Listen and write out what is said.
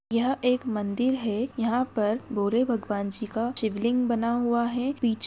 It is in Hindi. यह एक मंदिर है यहाँ पर भोले भगवान जी का शिवलिंग बना हुआ है पीछे--